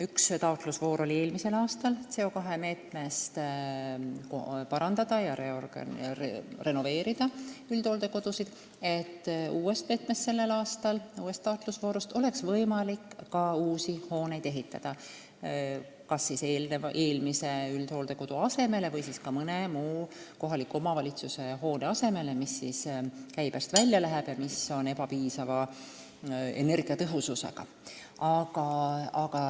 Üks taotlusvoor oli eelmisel aastal CO2 meetmest, selle aasta uuest taotlusvoorust oleks võimalik ka uusi hooneid ehitada – kas eelmise üldhooldekodu asemele või siis mõne muu kohaliku omavalitsuse hoone asemele, mis läheb käibest välja, kuna on ebapiisava energiatõhususega.